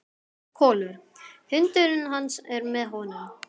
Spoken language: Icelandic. Kolur, hundurinn hans, er með honum.